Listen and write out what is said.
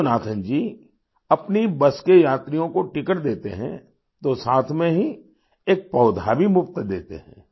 योगनाथान जी अपनी बस के यात्रियों को टिकट देते हैं तो साथ में ही एक पौधा भी मुफ्त देते हैं